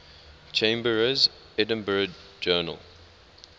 chambers's edinburgh journal